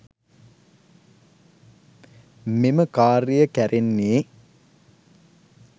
මෙම කාර්ය කැරෙන්නේ.